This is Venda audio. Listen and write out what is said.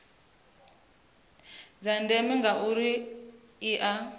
dza ndeme ngauri dzi ea